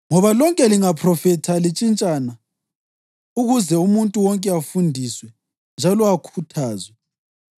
Ngoba lonke lingaphrofitha lintshintshana ukuze umuntu wonke afundiswe njalo akhuthazwe.